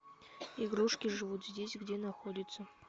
игрушки живут здесь где находится